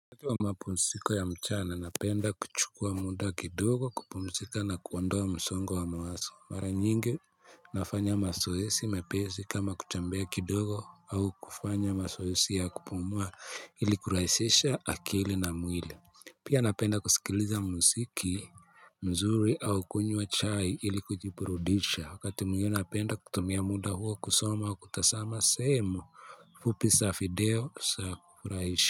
Kati wa mapumisiko ya mchana napenda kuchukua muda kidogo kupumisika na kuwandoa msongo wa mawaso. Mara nyingi nafanya masoesi mepezi kama kuchambea kidogo au kufanya masoesi ya kupumua ili kurahisisha akili na mwili. Pia napenda kusikiliza musiki mzuri au kunywa chai ili kujipurudisha. Wakati mwingine napenda kutumia muda huo kusoma wa kutasama sehemu. Fupi sa fideo sa kufurahisha.